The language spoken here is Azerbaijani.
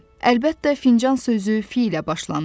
Əlbəttə, fincan sözü f ilə başlanır.